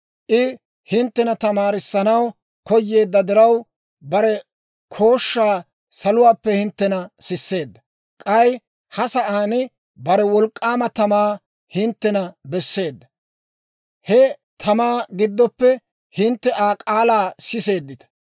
I hinttena tamaarissanaw koyeedda diraw, bare kooshshaa saluwaappe hinttena sisseedda. K'ay ha sa'aan bare wolk'k'aama tamaa hinttena besseedda; he tamaa giddoppe hintte Aa k'aalaa siseeddita.